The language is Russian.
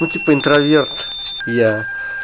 ну типа интроверт я